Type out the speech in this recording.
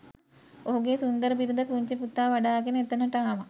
ඔහුගේ සුන්දර බිරිඳ පුංචි පුතා වඩාගෙන එතැනට ආවා.